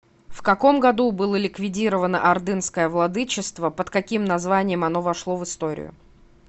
в каком году было ликвидировано ордынское владычество под каким названием оно вошло в историю